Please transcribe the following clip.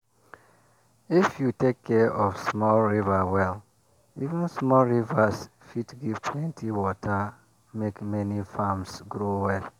if you take care of small river well even small rivers fit give plenty water make many farms grow well.